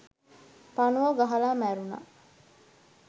පණුවෝ ගහලා මැරුණා